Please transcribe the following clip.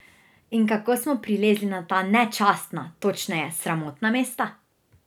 In kako smo prilezli na ta nečastna, točneje sramotna mesta?